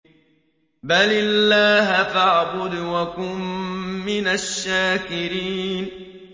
بَلِ اللَّهَ فَاعْبُدْ وَكُن مِّنَ الشَّاكِرِينَ